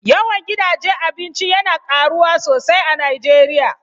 Yawan gidaje Abinci yana karuwa sosai a Nijeriya